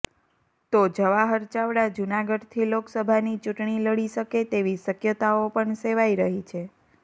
તો જવાહર ચાવડા જૂનાગઢથી લોકસભાની ચૂંટણી લડી શકે તેવી શક્યતાઓ પણ સેવાઇ રહી છે